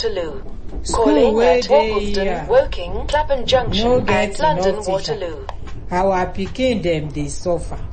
school wey dey here um no get enough teacher our pikin dem dey suffer.